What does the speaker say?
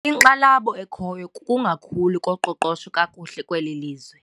Inkxalabo ekhoyo kukungakhuli koqoqosho kakuhle kweli lizwe.